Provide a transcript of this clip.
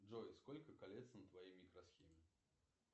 джой сколько колец на твоей микросхеме